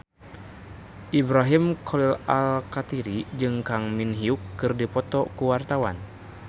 Ibrahim Khalil Alkatiri jeung Kang Min Hyuk keur dipoto ku wartawan